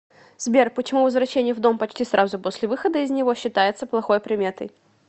сбер почему возвращение в дом почти сразу после выхода из него считается плохой приметой